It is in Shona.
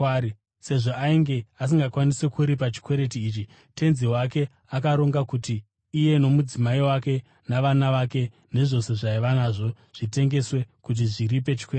Sezvo ainge asingakwanisi kuripa chikwereti ichi, tenzi wake akaronga kuti iye nomudzimai wake, navana vake nezvose zvaaiva nazvo zvitengeswe kuti zviripe chikwereti.